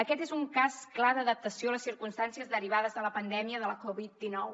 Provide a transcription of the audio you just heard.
aquest és un cas clar d’adaptació a les circumstàncies derivades de la pandèmia de la covid dinou